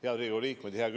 Head Riigikogu liikmed!